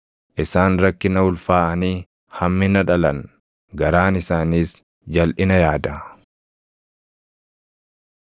Isaan rakkina ulfaaʼanii hammina dhalan; garaan isaaniis jalʼina yaada.”